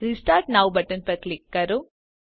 restart now button પર click કરો